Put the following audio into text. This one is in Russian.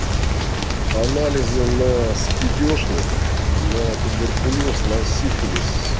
анализы наа спидешник на туберкулёз на сифилис